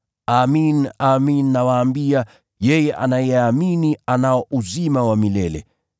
Amin, amin nawaambia, yeye anayeamini anao uzima wa milele.